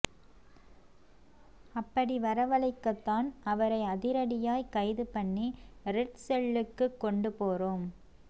அப்படி வரவழைக்கத்தான் அவரை அதிரடியாய் கைது பண்ணி ரெட் செல்லுக்கு கொண்டு போறோம்